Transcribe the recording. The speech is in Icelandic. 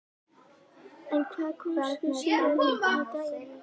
En hvað kom svo síðar á daginn?